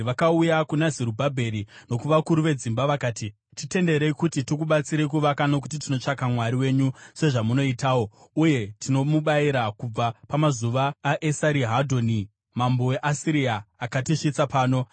vakauya kuna Zerubhabheri nokuvakuru vedzimba vakati, “Titenderei kuti tikubatsirei kuvaka nokuti tinotsvaka Mwari wenyu, sezvamunoitawo, uye tinomubayira kubva pamazuva aEsarihadhoni mambo weAsiria, akatisvitsa pano.”